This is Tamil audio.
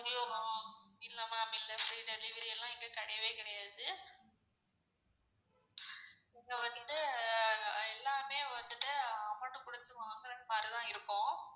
இல்ல ma'am இல்ல free delivery ல்லாம் இங்க கெடையவே கெடையாது. இங்க வந்து எல்லாமே வந்துட்டு amount டு குடுத்து வாங்குறமாரிதான் இருக்கும்.